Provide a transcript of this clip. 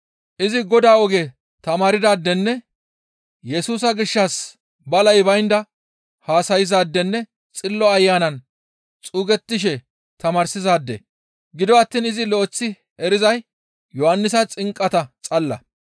Izi Godaa oge tamaardaadenne Yesusa gishshas balay baynda haasayzaadenne Xillo Ayanan xuugettishe tamaarsizaade; gido attiin izi lo7eththi erizay Yohannisa xinqata xalala.